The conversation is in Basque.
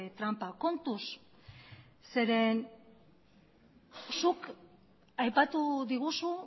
tranpa kontuz zeren zuk aipatu diguzu